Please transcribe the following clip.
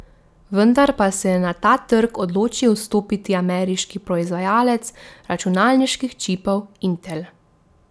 Vendar pa se je na ta trg odločil vstopiti ameriški proizvajalec računalniških čipov Intel.